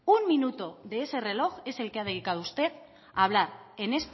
un minuto de ese reloj es el que ha dedicado usted a hablar en